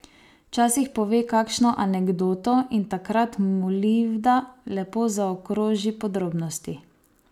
Včasih pove kakšno anekdoto, in takrat Molivda lepo zaokroži podrobnosti.